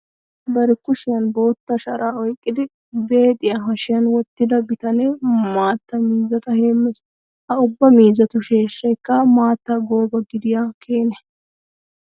Bari kushiyan bootta sharaa oyqqidi beexiya hashiyan wottida bitanee maatta miizzata heemmes. Ha ubba miizzatu sheeshshaykka maattan gooba gidiya Keene.